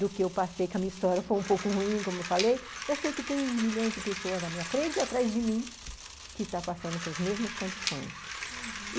do que eu passei, que a minha história foi um pouco ruim, como eu falei, eu sei que tem milhões de pessoas na minha frente e atrás de mim que estão passando pelas mesmas condições, uhum.